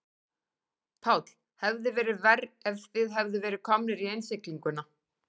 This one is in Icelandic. Páll: Hefði verið verra ef þið hefðuð verið komnir í innsiglinguna?